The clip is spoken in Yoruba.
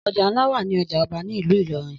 Ọjà ńlá wà ní ọjà Ọba ni ìlú Ìlọrin